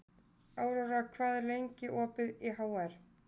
Aurora, hvað er lengi opið í HR?